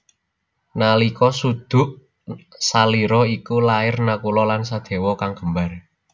Nalika suduk salira iku lair Nakula lan Sadewa kang kembar